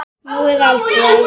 Nú eða aldrei.